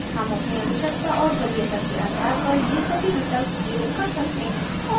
हम अपनी आवश्यकता और वरीयता के आधार पर ये सभी विकल्प प्रयोग कर सकते हैं